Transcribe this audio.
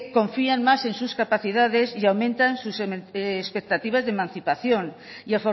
confían más en sus capacidades y aumentan sus expectativas de emancipación y